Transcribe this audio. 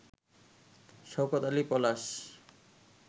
Shawkat Ali Palash